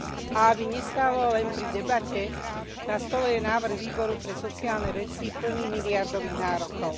A aby neostalo len pri debate, na stole je návrh Výboru pre sociálne veci plný miliardových nárokov.